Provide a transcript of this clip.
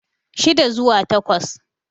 shida zuwa takwas